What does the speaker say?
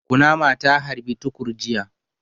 Kunama ta harbi Tukur jiya.